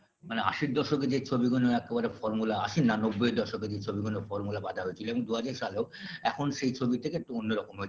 মানে আশি দশকের যে ছবিগুলো একবারে formula আশি না নব্বই দশকের যে সব ছবি গুলো formula বাঁধা হয়েছিল এবং দুহাজার সালেও এখন সেই ছবি থেকে একটু অন্য রকম হয়~